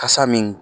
Kasa min